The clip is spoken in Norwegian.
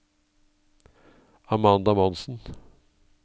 Amanda Monsen